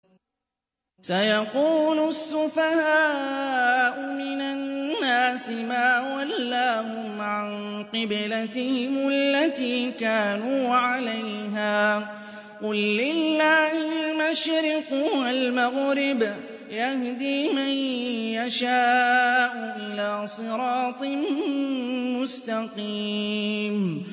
۞ سَيَقُولُ السُّفَهَاءُ مِنَ النَّاسِ مَا وَلَّاهُمْ عَن قِبْلَتِهِمُ الَّتِي كَانُوا عَلَيْهَا ۚ قُل لِّلَّهِ الْمَشْرِقُ وَالْمَغْرِبُ ۚ يَهْدِي مَن يَشَاءُ إِلَىٰ صِرَاطٍ مُّسْتَقِيمٍ